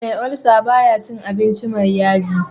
Me ulcer baya cin abinci me yaji